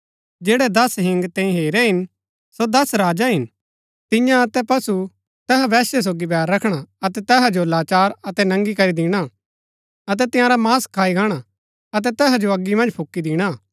जैड़ै दस हिंग तैंई हेरै हिन सो दस राजा हिन तिन्या अतै पशु तैहा वेश्या सोगी बैर रखणा अतै तैहा जो लाचार अतै नंगी करी दिणा अतै तसारा मांस खाई गाणा अतै तैहा जो अगी मन्ज फूकी दिणा